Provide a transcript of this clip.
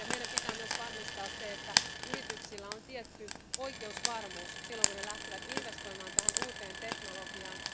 Meidän pitää myös varmistaa se, että yrityksillä on tietty oikeusvarmuus, silloin kun ne lähtevät investoimaan tähän uuteen teknologiaan.